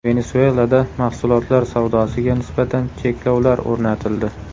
Venesuelada mahsulotlar savdosiga nisbatan cheklovlar o‘rnatildi.